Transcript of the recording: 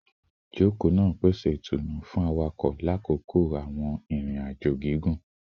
Ijoko naa pese itunu fun ẹlẹṣin lakoko awọn irin-ajo gigun